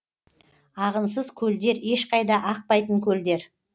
ағынсыз көлдер ешқайда ақпайтын көлдер